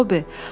“Tobi!”